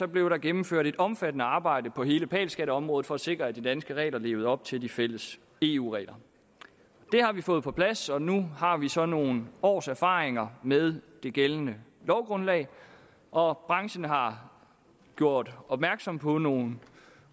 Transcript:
blev der gennemført et omfattende arbejde på hele pal skatteområdet for at sikre at de danske regler levede op til de fælles eu regler det har vi fået på plads og nu har vi så nogle års erfaringer med det gældende lovgrundlag og branchen har gjort opmærksom på nogle